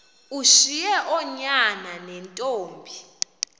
ushiye oonyana neentombi